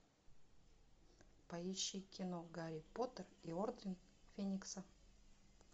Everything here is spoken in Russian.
поищи кино гарри поттер и орден феникса